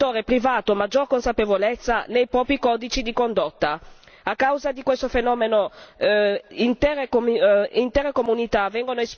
A causa di questo fenomeno, intere comunità vengono espulse dalla terra, lasciate senza risarcimento o fonte di reddito.